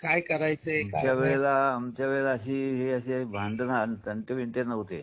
काय करायचे आमच्या वेळेला आमच्या वेळेला हे असले भांडण आणि तंटे बिंटे नव्हते.